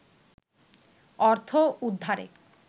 অর্থ উদ্ধারে